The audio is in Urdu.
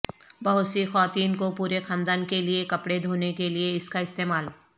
بہت سی خواتین کو پورے خاندان کے لئے کپڑے دھونے کے لئے اس کا استعمال